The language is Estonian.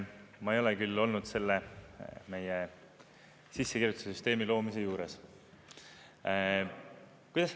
Ma ei ole küll olnud selle meie sissekirjutuse süsteemi loomise juures.